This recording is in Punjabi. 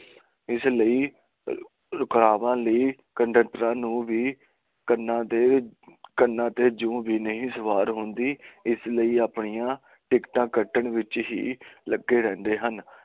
ਇਸ ਲਈ ਰੁਕਵਾ ਲਈ ਕੰਡਕਟਰਾਂ ਨੂੰ ਵੀ ਕੰਨਾਂ ਤੇ ਜੂ ਵੀ ਨਹੀਂ ਸਵਾਰ ਹੁੰਦੀ ਇਸ ਲਈ ਆਪਣੀਆਂ ਟਿਕਟਾਂ ਕੱਟਣ ਵਿਚ ਲੱਗੇ ਰਹਿੰਦੇ ਹਨ